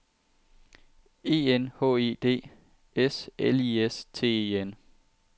E N H E D S L I S T E N